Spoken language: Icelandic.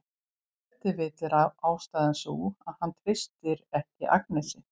Ef til vill er ástæðan sú að hann treystir ekki Agnesi.